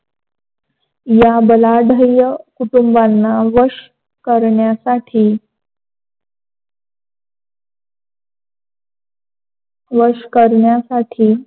या बलाढ्य कुटुंबाना वश करण्यासाठी वश करण्यासाठी